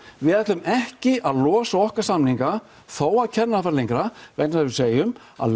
við ætlum ekki að losa okkar samninga þó að kennarar hafi farið lengra vegna þess að við segjum að